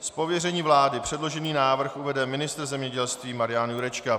Z pověření vlády předložený návrh uvede ministr zemědělství Marian Jurečka.